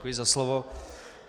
Děkuji za slovo.